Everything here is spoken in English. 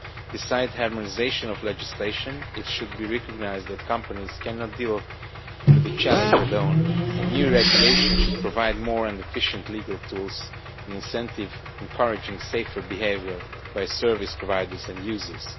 Besides harmonisation of legislation, it should be recognised that companies cannot deal with the challenge alone, and new regulation should provide more and efficient legal tools and incentives encouraging safer behaviour by service providers and users.